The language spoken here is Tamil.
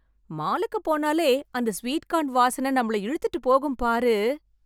மாலுக்கு போனாலே அந்த ஸ்வீட் கார்ன் வாசனை நம்மள இழுத்துட்டு போகும் பாரு.